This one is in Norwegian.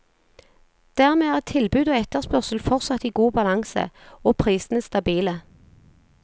Dermed er tilbud og etterspørsel fortsatt i god balanse, og prisene stabile.